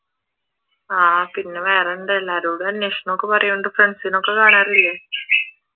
ആഹ് പിന്നെ വേറെന്താ എല്ലാരോടും അന്വേഷണം ഒക്കെ പറയുന്നുണ്ട് ഫ്രണ്ട്സിനെ ഒക്കെ കാണാറില്ലേ?